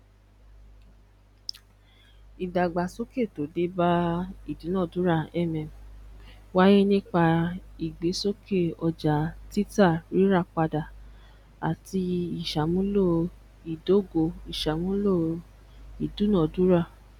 idagbasoke to de ba idunadura mm waye nipa igbesoke oja titarirapada ati isamulo idogoisamulo idunadura